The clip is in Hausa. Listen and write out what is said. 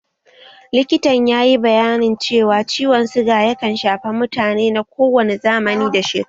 Likitan yayi bayanin cewa ciwon suga yakan shafa mutane na kowane zamani da shekaru